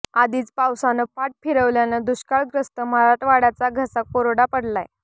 आधीच पावसानं पाठ फिरवल्यानं दुष्काळग्रस्त मराठवाड्याचा घसा कोरडा पडलाय